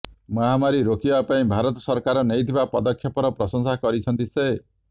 ମହାମାରୀ ରୋକିବା ପାଇଁ ଭାରତ ସରକାର ନେଇଥିବା ପଦକ୍ଷେପର ପ୍ରଶଂସା କରିଛନ୍ତି ସେ